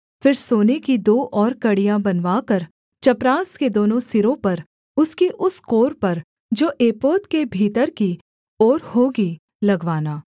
फिर सोने की दो और कड़ियाँ बनवाकर चपरास के दोनों सिरों पर उसकी उस कोर पर जो एपोद के भीतर की ओर होगी लगवाना